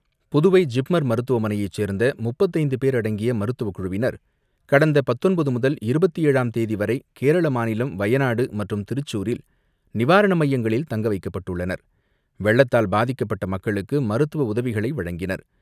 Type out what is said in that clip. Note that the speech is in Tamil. புதுவை ஜிப்மர் மருத்துவமனைச் சேர்ந்த 35 பேர் அடங்கிய மருத்துவக் குழுவினர் கடந்த 19 முதல் 27ம் தேதி வரை கேரள மாநிலம் வையனாடு மற்றும் திருச்சூரில் நிவாரண மையங்களில் தங்க வைக்கப்பட்டுள்ளனர், வெள்ளத்தால் பாதிக்கப்பட்ட மக்களுக்கு மருத்துவ உதவிகளை வழங்கினர்.